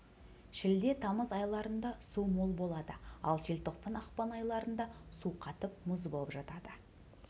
шілде тамыз айларында су мол болады ал желтоқсан ақпан айларында су қатып мұз болып жатады